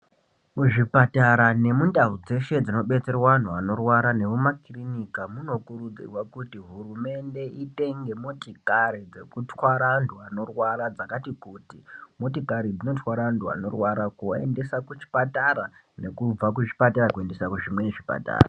Muzvipatara nemundau dzeshe dzibetserwa antu vanorwara nemuma kirinika munokurudzirwa kuti hurumende itenge motikari dzekutwara antu anorwara dzakati kuti. Motikari dzinotwara antu anorwara kuaendesa kuchipatara nekubva kuzvipatara kuendesa kuzvimweni zvipatara.